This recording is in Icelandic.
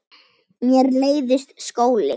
Mér leiðist skóli.